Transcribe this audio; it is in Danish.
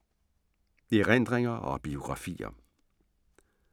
Erindringer og biografier